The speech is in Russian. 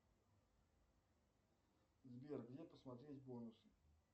сбер где посмотреть бонусы